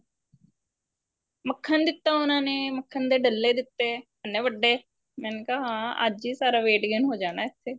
ਮੱਖਣ ਦਿੱਤਾ ਉਹਨਾ ਨੇ ਮੱਖਣ ਦੇ ਡਲੇ ਦਿੱਤੇ ਇੰਨੇ ਵੱਡੇ ਮੈਨੇ ਕਿਹਾ ਹਾਂ ਅੱਜ ਹੀ ਸਾਰਾ weight gain ਹੋ ਜਾਣਾ ਇੱਥੇ